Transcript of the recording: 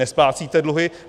Nesplácíte dluhy.